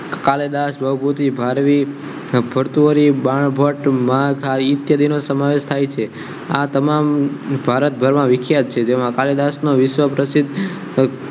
કાલિદાસ, ભભૂતિ, ભારવી, ભર્તુંવારી, બાણભટ્ટ માલધારી ઈત્યાદિનો સમાવેશ થાય છે આ તમામ ભારત ભરમાં વિખ્યાત છે જેમાં કાલિદાસનો વિશ્વ પ્રસિદ્ધ